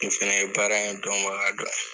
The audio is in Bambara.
Nin fana ye baara in dɔnbaga dɔ ye.